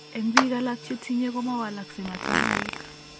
En Biik alak chetinye ko mawalaskei matangaik